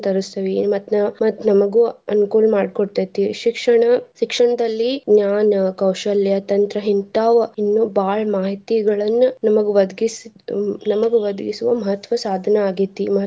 ತರಸ್ತೆವಿ. ಮತ್ತ್ ಮತ್ತ್ ನಮ್ಗು ಅನುಕೂಲ್ ಮಾಡಿ ಕೊಡ್ತೈತಿ. ಶಿಕ್ಷಣ ಶಿಕ್ಷಣದಲ್ಲಿ ಜ್ಞಾನ, ಕೌಶಲ್ಯ, ತಂತ್ರ ಹಿಂತಾವ ಇನ್ನು ಬಾಳ ಮಾಹಿತಿಗಳನ್ನ ನಮ್ಗ್ ಒದಗಿಸಿ ನಮ್ಗ್ ಒದಗಿಸುವ ಮಹತ್ವ ಸಾಧನ ಆಗೇತಿ.